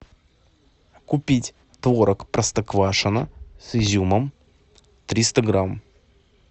купить творог простоквашино с изюмом триста грамм